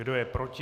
Kdo je proti?